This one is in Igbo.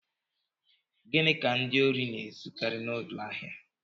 Gịnị ka ndị ohi na-ezukari n'ụlọ ahịa?